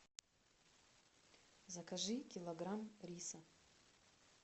закажи килограмм риса